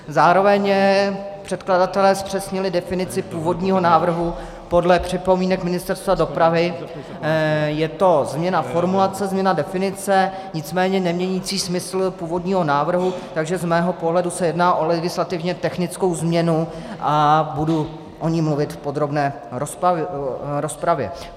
Zároveň předkladatelé zpřesnili definici původního návrhu podle připomínek Ministerstva dopravy - je to změna formulace, změna definice, nicméně nemění smysl původního návrhu, takže z mého pohledu se jedná o legislativně technickou změnu a budu o ní mluvit v podrobné rozpravě.